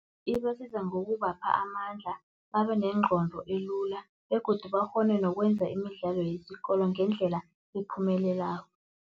Ibasiza ngokubapha amandla, babe nengqondo elula begodu bakghone nokwenza imidlalo yesikolo ngendlela ephumelelako.